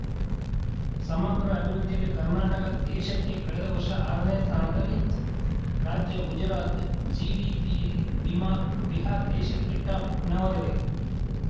ಸಮಗ್ರ ಅಭಿವೃದ್ಧಿಯಲ್ಲಿ ಕರ್ನಾಟಕ ದೇಶಕ್ಕೇ ಕಳೆದ ವರ್ಷ ಆರನೇ ಸ್ಥಾನದಲ್ಲಿತ್ತು ರಾಜ್ಯ ಗುಜರಾತ್‌ ಜಿಡಿಪಿಯಲ್ಲಿ ಬಿಮಾರ್ಬಿಹಾರ ದೇಶಕ್ಕೇ ಟಾಪ್‌ ನವದೆಹಲಿ